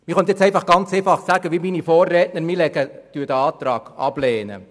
Man könnte jetzt ganz einfach wie mein Vorredner sagen, dass wir diesen Antrag ablehnen.